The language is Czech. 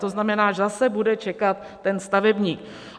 To znamená, že zase bude čekat ten stavebník.